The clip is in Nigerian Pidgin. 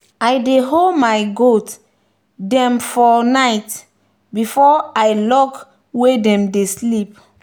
i dey hold my goats them for night before i lock wey dem dey sleep.